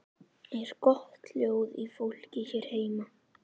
Er gott hljóð í fólki hér heima?